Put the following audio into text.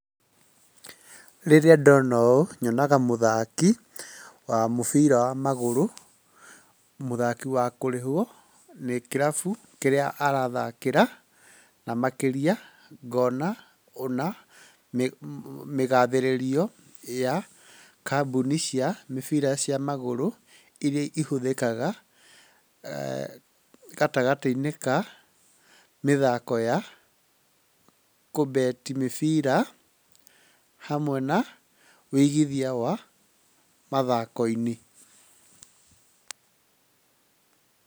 Rĩrĩa ndona ũũ, nyonaga mũthaki wa mũbira wa magũrũ, mũthaki wa kũrihwo nĩ kĩrabu kĩrĩa arathakĩra, na makĩria ngona ona mĩgatherĩrio ya kambũni cia mĩbira cia magũrũ irĩa ihũthĩkaga gatagatĩ-inĩ ka mĩthako ya kũbeti mĩbira hamwe na wĩigithia wa mathako-inĩ.